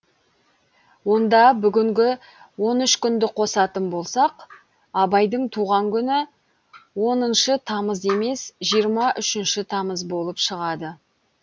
онда бүгінгі он үш күнді қосатын болсақ абайдың туған күні оныншы тамыз емес жиырма үшінші тамыз болып шығады